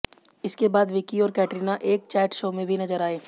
इसके बाद विकी और कैटरीना एक चैट शो में भी नजर आए